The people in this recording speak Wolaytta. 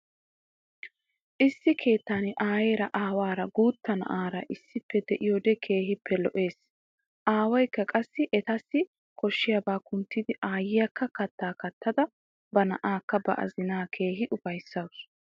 Issi keettan aayeera aawara guutta na'aara issippe de'iyoode keehippe lo'ees. Aawaykka qassi etassi koshshiyabaa kunttidi aayyiyakka kattaa kattada ba na'aakka ba azinaa keehi ufayssawusu.